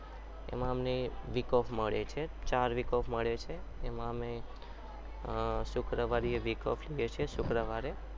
એમાં અમને week off મળે છે ચાર week off મળે છે એમાં અમે શુક્રવાર એ week off લઈએ છીએ શુક્રવાર એ